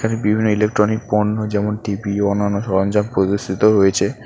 এখানে বিভিন্ন ইলেক্ট্রনিক পণ্য যেমন টি_ভি অনান্য সরঞ্জাম প্রদর্শিত হয়েছে।